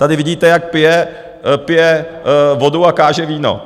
Tady vidíte, jak pije vodu a káže víno.